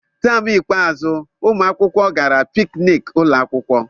Taam ikpeazụ, ụmụ akwụkwọ gara pikniki ụlọ akwụkwọ.